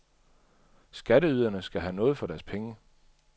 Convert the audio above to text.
Skatteyderne skal have noget for deres penge.